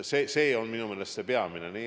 See on minu meelest peamine.